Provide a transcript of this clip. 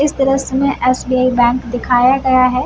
इस दृश्य में एस.बी.आई. बैंक दिखाया गया है।